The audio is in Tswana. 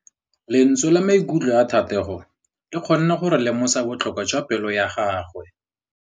Lentswe la maikutlo a Thategô le kgonne gore re lemosa botlhoko jwa pelô ya gagwe.